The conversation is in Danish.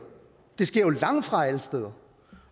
det sker langtfra alle steder